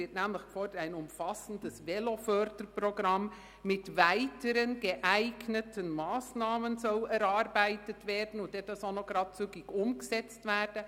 Ein «umfassendes Veloförderprogramm mit weiteren geeigneten Massnahmen» soll erarbeitet und dann auch gleich zügig umgesetzt werden.